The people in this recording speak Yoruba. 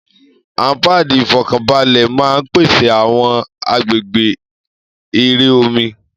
Àwọn páàdì ìfọ́kànbalẹ̀ máa ń pèsè àwọn agbègbè eré omi.